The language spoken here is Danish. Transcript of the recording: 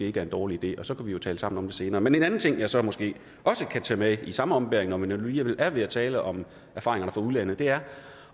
ikke er en dårlig idé og så kan vi jo tale sammen om det senere men en anden ting jeg så måske også kan tage med i samme ombæring når vi nu alligevel er ved at tale om erfaringerne fra udlandet er